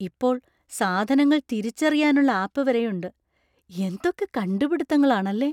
ഇപ്പോൾ സാധനങ്ങൾ തിരിച്ചറിയാനുള്ള ആപ്പ് വരെയുണ്ട്; എന്തൊക്കെ കണ്ടുപിടിത്തങ്ങളാണല്ലേ!